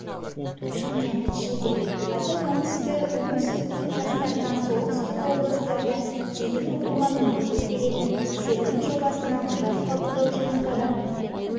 шымкент шілде қаз оңтүстіктің жастарына солтүстік облыстарда тегін оқуға мүмкіндік беретін серпін жобасына құжат қабылдау жұмыстары